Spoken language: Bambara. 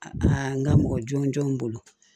A n ka mɔgɔ jɔn jɔn bolo